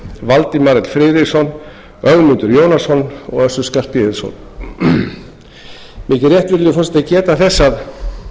valdimar l friðriksson ögmundur jónasson og össur skarphéðinsson mér þykir rétt virðulegi forseti að geta þess að